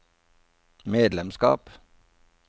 medlemskap